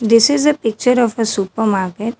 This is a picture of a supermarket.